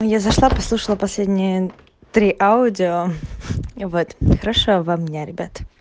я зашла послушала последние три аудио вот хорошего вам дня ребят